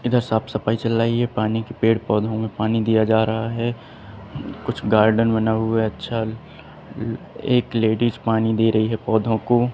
इधर साफ सफाई चल रही है पानी की पेड़ पौधे में पानी दिया जा रहा है कुछ गार्डन बना हुआ है अच्छा एक लेडीज पानी दे रही पौधों को।